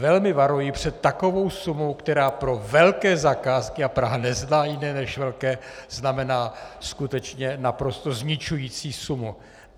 Velmi varuji před takovou sumou, která pro velké zakázky, a Praha nezná jiné než velké, znamená skutečně naprosto zničující sumu.